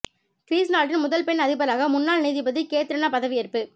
Greece நாட்டின் முதல் பெண் அதிபராக முன்னாள் நீதிபதி கேத்ரினா பதவியேற்பு